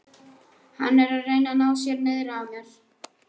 Hann er að reyna að ná sér niðri á mér.